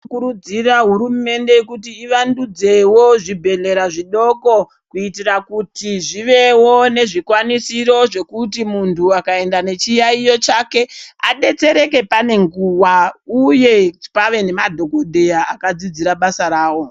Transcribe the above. Tinokurudzirawo kuti hurumende yedu ivandudzewo zvibhehlera zvidoko kuitira kuti zvive nezvikwanisiro kuti muntu akaenda nezviyayiyo chake adetsereke pane nguwa uye pave nemadhokhodheya akadzidzira basa ravo.